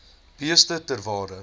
beeste ter waarde